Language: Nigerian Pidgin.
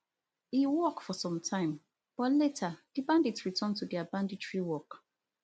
e work for some time but later di bandits return to dia banditry work